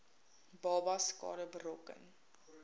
babas skade berokken